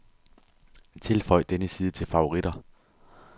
Tilføj denne side til favoritter.